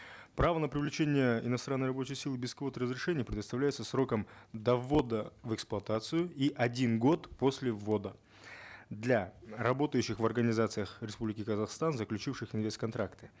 право на привлечение иностранной рабочей силы без квот и разрешений предоставляется сроком до ввода в эксплуатацию и один год после ввода для работающих в организациях республики казахстан заключивших инвест контракты